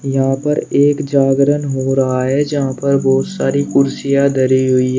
यहां पर एक जागरण हो रहा है जहां पर बहुत सारी कुर्सियां धरी हुई है।